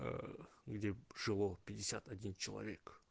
где жило пятьдесят один человек